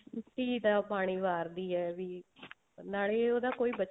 ਧੀ ਦਾ ਪਾਣੀ ਵਾਰਦੀ ਹੈ ਵੀ ਨਾਲੇ ਉਹਦਾ ਕੋਈ